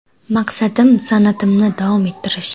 Maqsadim san’atimni davom ettirish.